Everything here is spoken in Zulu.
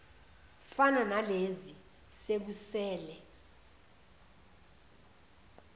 fana nalezi sekusele